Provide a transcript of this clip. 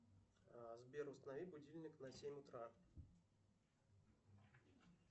сбер установи будильник на семь утра